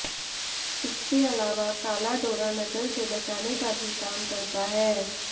इसके अलावा काला डोरा नजर से बचाने का भी काम करता है